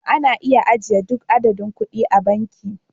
Ana iya ajiye duk adadin kuɗi a banki